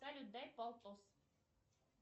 салют дай полтос